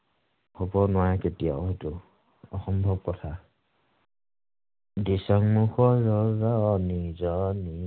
হব নোৱাৰে কেতিয়াও সেইটো। অসম্ভৱ কথা।